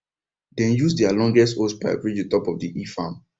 dem use their longest hosepipe reach the top of the hill farm